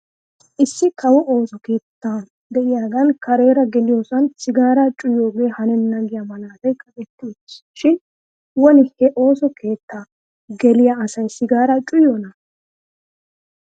Issi kawo ooso keettaa de'iyaagan kareera geliyoosan sigaaraa cuwayiyoogee hanenna giyaa malaatay kaqetti uttis shin woni he ooso keettaa geliyaa asay sigaaraa cuwayiyoonaa?